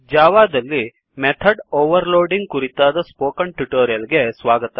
ಜಾವಾದಲ್ಲಿ method overloading ಕುರಿತಾದ spoken tutorial ಗೆ ಸ್ವಾಗತ